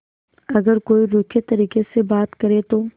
अगर कोई रूखे तरीके से बात करे तो